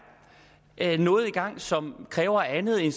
er noget i gang som kræver andet end